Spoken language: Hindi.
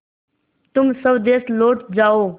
तुम स्वदेश लौट जाओ